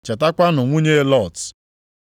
Chetakwanụ nwunye Lọt.